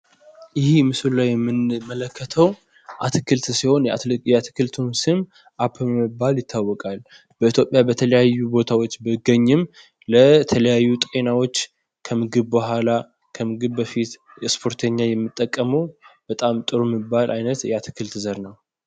ይሀ ምስሉ ላይ የምንመለከተው አትክልት ሲሆን የአትክልቱ ስም አፕል በመባል ይታወቃል። በኢትዮጵያ በተለያዩ ቦታዎች ቢገኝም ለተለያዩ ጤናዎች ከምግብ ቡሃላ ከምግብ በፊት ስፖርተኛ የሚተቀመው በጣም ጥሩ የሚባል አይነት የአትክልት ዘር ነው።